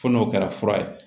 Fo n'o kɛra fura ye